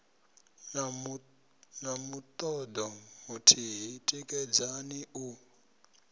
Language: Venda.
na mutodo muthihi tikedzani u